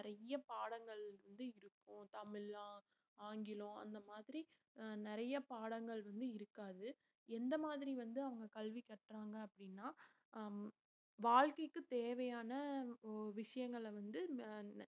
நிறைய பாடங்கள் வந்து இருக்கும் தமிழ் ஆஹ் ஆங்கிலம் அந்த மாதிரி அஹ் நிறைய பாடங்கள் வந்து இருக்காது. எந்த மாதிரி வந்து, அவங்க கல்வி கற்றாங்க அப்படின்னா அஹ் வாழ்க்கைக்கு தேவையான ஒ~ விஷயங்களை வந்து ம~